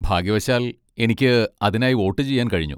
ഭാഗ്യവശാൽ, എനിക്ക് അതിനായി വോട്ടുചെയ്യാൻ കഴിഞ്ഞു.